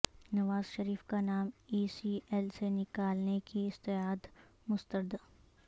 نواز شریف کا نام E C L سے نکالنے کی استدعا مسترد